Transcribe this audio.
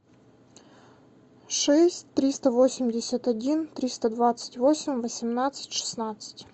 шесть триста восемьдесят один триста двадцать восемь восемнадцать шестнадцать